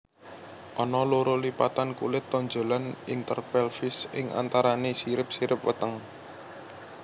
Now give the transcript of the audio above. Ana loro lipatan kulit tonjolan interpelvis ing antarané sirip sirip weteng